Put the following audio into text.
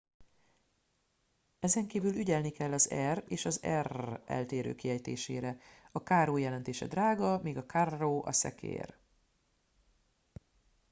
ezenkívül ügyelni kell az r és az rr eltérő kiejtésére a caro jelentése drága míg a carro a szekér